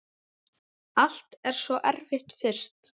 Allt er svo erfitt fyrst.